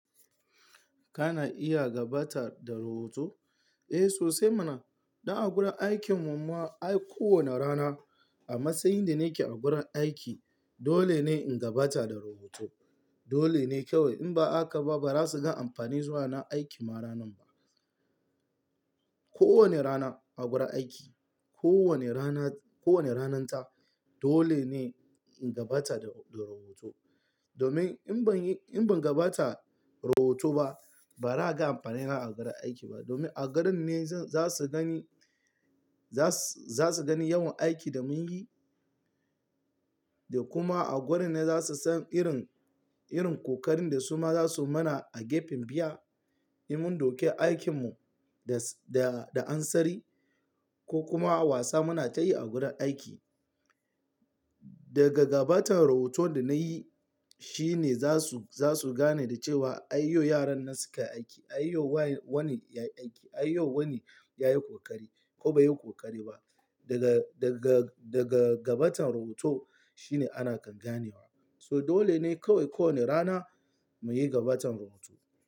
Kana iya gabatar da rahoto? Eh, sosai muna. Don a gurin aikin mu ma ko wane rana a matsayin da nake a gurin aiki dole ne in gabatar da rahoto. Dole ne kawai in ba a ka ba ba za su ga amfani zuwa na aiki ma ranan ba. Ko wane rana a gurin aiki, ko wane rana, ko wane ranan ta dole ne in gabatar da, da rahoto. Domin in ban yi, in ban gabatar da rahoto ba ba za a ga amfanin nan a gurin aiki ba. Domin a gadon ne za su gani, za su, za su gani yawan aikin da mun yi da kuma a gurin ne za su san irin, irin kokarin da su ma za su mana a gefen biya. In mun dauke aikin mu da, da ansari ko kuma wasa muna tayi a gurin aiki. Daga gabatar da rahoto da na yi shine za su, za su gane da cewa ayyo yaran nan suka yi aiki, ayyo wani ya yi aiki, ayyo wani ya yi kokari ko bai yi kokari ba. Daga, daga, daga gabatar da rahoto shine ana kan ganewa. So dole ne kawai ko wane rana mu yi gabatar da rahoto.